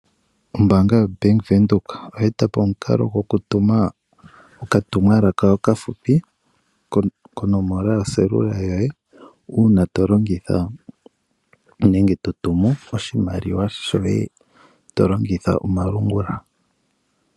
Ombaanga yoBank Windhoek oye eta po omukalo gwokutuma okatumwalaka okafupi konomola yoselula yoye, uuna tolongitha nenge totumu oshimaliwa shoye tolongitha omalungula.